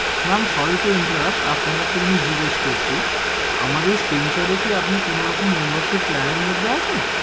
Ma'am sorry to interrupt আপনাকে একটা জিনিস জিজ্ঞেস করছি, আমাদের স্পেন্সর এ কি আপনি কোনো রকম membership plan এর মধ্যে আছেন?